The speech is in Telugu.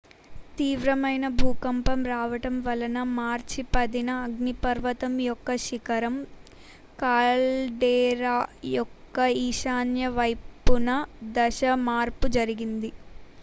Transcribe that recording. తీవ్రమైన భూకంపం రావటం వలన మార్చి 10న అగ్నిపర్వతం యొక్క శిఖరం కాల్డేరా యొక్క ఈశాన్య వైపున దశ మార్పు జరిగింది